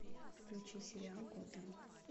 включи сериал готэм